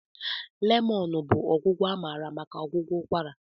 lemon bụ ọgwụgwọ amara maka ọgwụgwọ ụkwara.